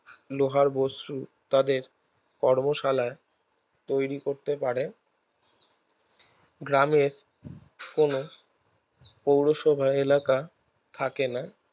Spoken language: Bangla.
লোহার বস্তু তাদের কর্মশালায় তৈরী করতে পারে গ্রামের কোনে পৌরসভার এলাকা থাকে না